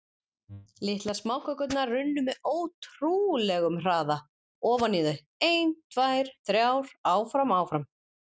Litlar smákökurnar runnu með ótrúleg- um hraða ofan í þau, ein, tvær, þrjár- áfram- áfram.